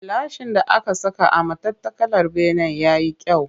Gilashin da aka saka a matattakalar benen ya yi kyau